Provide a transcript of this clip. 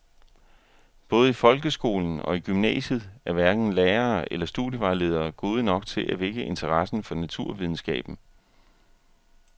Både i folkeskolen og i gymnasiet er hverken lærere eller studievejledere gode nok til at vække interessen for naturvidenskaben.